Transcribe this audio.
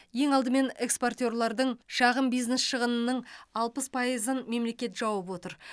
ең алдымен экспортерлардың шағын бизнес шығынының алпыс пайызын мемлекет жауып отыр